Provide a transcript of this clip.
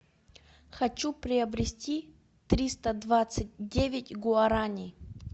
хочу приобрести триста двадцать девять гуарани